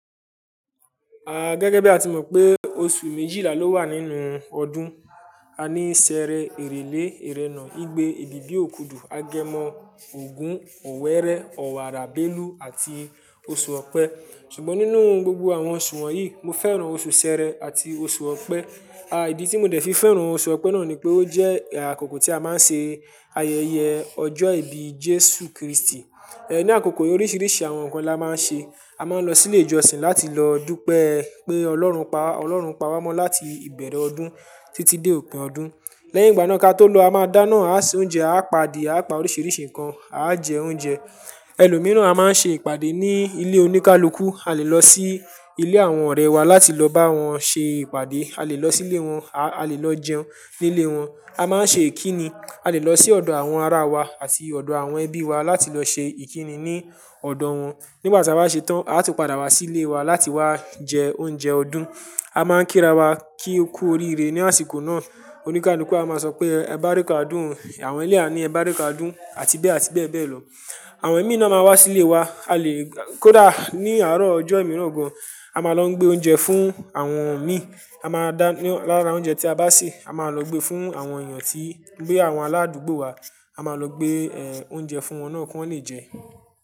A gẹ́gẹ́ bí a ti mọ̀ pé oṣù méjìlá ló wà nínú ọdún. A ní Sẹẹrẹ, Èrèlé, Ẹrẹ́nà, Igbe, ebíbì, òkùdù, Agẹmọ, Ògún, Ọ̀wẹ́rẹ́, Ọ̀wààrà, Bélú àti oṣù Ọ̀pẹ. Ṣùgbọ́n nínú gbogbo àwọn oṣù wọ̀nyí, mo fẹ́ràn oṣù Sẹẹrẹ àti oṣù Ọ̀pẹ. A ìdí tí mo dẹ̀ fi fẹ́ràn oṣù Ọ̀pẹ náà ni pé ó jẹ́ àkókò tí a máa ń ṣe ayẹyẹ ọjọ́ ìbí Jésù Kristi. Ní àkókò yii oríṣiríṣi àwọn nǹkan la máa ń ṣe. A máa ń lọ sílé ìjọsìn láti lọ dúpẹ́ pé Ọlọ́run pa wa, Ọlọ́run pawó mọ́ láti ìbẹ̀rẹ̀ ọdún títí dé òpin ọdún. Lẹ́yìn ìgbà náà ká tó lọ, a máa dáná, a se oúnjẹ, a pa adìẹ, a pa oríṣiríṣi nǹkan, a jẹ oúnjẹ. Ẹlòmíràn a máa ń ṣe ìpadé ní ilé oníkálukú. A lè lọ sí ilé àwọn ọ̀rẹ́ wa láti lọ bá wọn ṣe ìpàdé. A lè lọ sílé wọn, a lè lọ jẹun nílé wọn. A máa ń ṣe ìkíni. A lè lọ sí ọ̀dọ̀ àwọn ara wa àti ọ̀dọ̀ àwọn ẹbí wa láti lọ ṣe ìkíni ní ọ̀dọ̀ wọn. Nigbàtí a bá ṣe tán, a tún padà wá sílé wa láti wá jẹ oúnjẹ ọdún. A máa ń kíra wá kí o kú oríire ní àsìkò náà. Oníkálukú a máa sọ pé "ẹ bárika odùn o, àwọn eleyii a ní ẹ báríka odun káadoùn" àti bẹ́ẹ̀ àti bẹ́ẹ̀ bẹ́ẹ̀ lọ. Àwọn imií náà máa n wá sílé wa. A lè kódà ní àárọ̀ ọjọ́ ìmíràn gan. A máa lọ gbé oúnjẹ fún àwọn ẹ̀mí. A máa dá ní lára oúnjẹ tí a bá sè, a máa lọ gbé fún àwọn èèyàn tí bi àwọn aládùúgbò wa. A máa lọ gbé oúnjẹ fún wọn náà kí wọ́n lè jẹ.